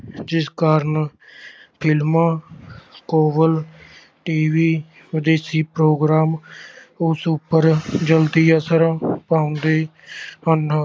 ਜਿਸ ਕਾਰਨ ਫਿਲਮਾਂ ਕੇਬਲ TV ਵਿਦੇਸ਼ੀ program ਉਸ ਉੱਪਰ ਜ਼ਲਦੀ ਅਸਰ ਪਾਉਂਦੇ ਹਨ।